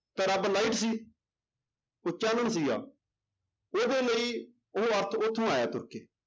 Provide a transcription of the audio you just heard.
ਤਾਂ ਰੱਬ light ਸੀ ਉਹ ਚਾਨਣ ਸੀਗਾ, ਉਹਦੇ ਲਈ ਉਹ ਅਰਥ ਉੱਥੋਂ ਆਇਆ ਤੁਰ ਕੇ।